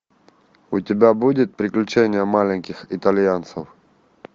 у тебя будет приключения маленьких итальянцев